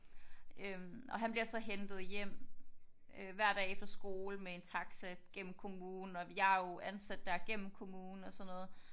Øh og han bliver så hentet hjem øh hver dag efter skole med en taxa gennem kommunen. Og jeg er jo ansat der gennem kommunen og sådan noget